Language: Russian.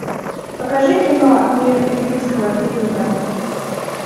покажи кино мир юрского периода